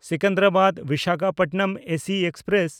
ᱥᱮᱠᱮᱱᱫᱨᱟᱵᱟᱫ–ᱵᱤᱥᱟᱠᱷᱟᱯᱚᱴᱱᱚᱢ AC express